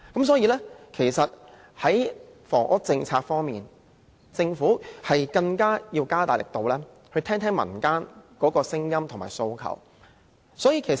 所以，在房屋政策方面，政府應更積極聆聽民間的聲音和訴求。